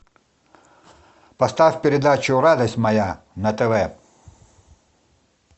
поставь передачу радость моя на тв